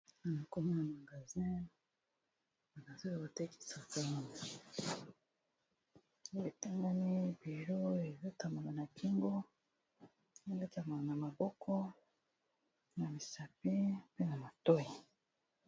Awa nakomi na magasin, magasin oyo batekisaka litangami bilo eletamaka na kingo eletamala na maboko na misapi pe na matoyi.